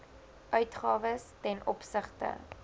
uitgawes ten opsigte